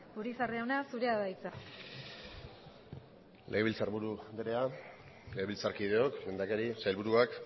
urizar jauna zurea da hitza legebiltzarburu andrea legebiltzarkideok lehendakari sailburuak